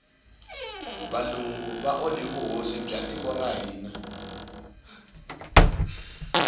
valungu va onhe vuhosi bya tiko ra hina